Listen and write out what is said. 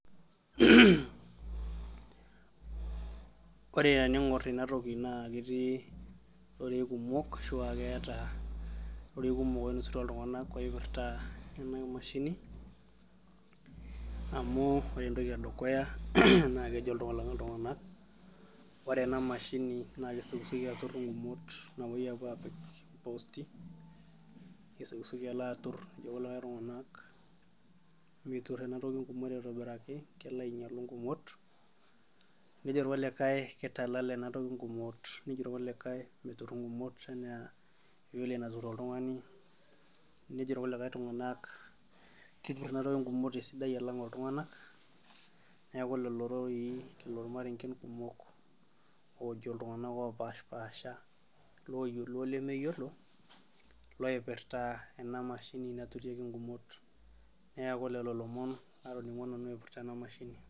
Ore tening'or ena toki naa ketii irorei kumok ashua ketii rorei kumol oinasutua iltung'anak tenkaraki ena mashini ore entoki edukuya naa kejo iltung'anak ore ena mashini naa kesioki sioki alo aatur ketur en toki ingumot aitobiraki kelo ainyialu inkumot nejo irkulikai keitalala ena toki ingumot nejo irkulikae metur egumot enaa vile natur oltung'ani nejo irkulikae tung'anak ketur enatoki ingumot alang iltung'anak neeku lelo irorei lelo irmarengen kumok oojo iltung'anak opashipasha looyiolo olemeyiolo loipirta enamashini naturieki ingumot neeku lelo ilomoon natoning'o nanu aipirta ena mashini